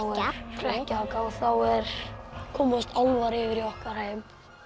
hrekkjavaka og þá komast álfar yfir í okkar heim